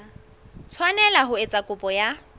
tshwanela ho etsa kopo ya